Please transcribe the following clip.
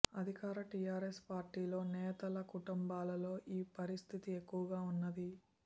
అధికార టీఆర్ఎస్ పార్టీలో నేతల కుటుంబాల్లో ఈ పరిస్థితి ఎక్కువగా ఉన్నది